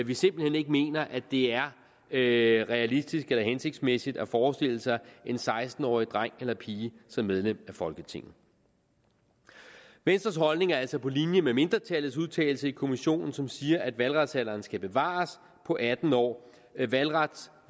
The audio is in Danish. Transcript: vi simpelt hen ikke mener at det er realistisk eller hensigtsmæssigt at forestille sig en seksten årig dreng eller pige som medlem af folketinget venstres holdning er altså på linje med mindretallets udtalelse i kommissionen som siger at valgretsalderen skal bevares på atten år valgrets